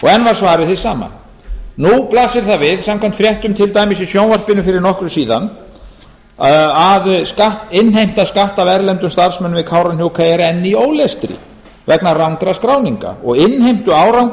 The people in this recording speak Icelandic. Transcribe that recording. enn var svarið hið sama nú blasir það við samkvæmt fréttum til dæmis í sjónvarpinu fyrir nokkru síðan að innheimta skatta af erlendum starfsmönnum við kárahnjúka eru enn í ólestri vegna rangra skráninga og innheimtuárangur